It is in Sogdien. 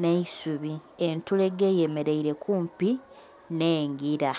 nhe isubi entulege eyemeraile kumpi nhengila.